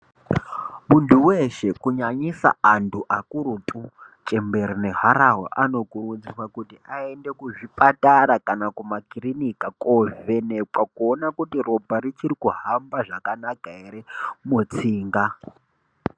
Muntu weshe kunyanyisa antu akurutu chembere neharahwa anokurudzirwa kuti aende kuzvipatara nekumakirinika kovhenekwa kuona kuti ropa richiri kuhamba zvakanaka ere mutsinga.